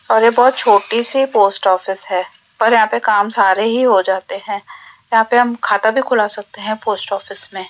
और ये बहोत छोटी सी पोस्ट ऑफिस है पर यहां पे काम सारे ही हो जाते हैं यहां पे हम खाता भी खुला सकते हैं पोस्ट ऑफिस में --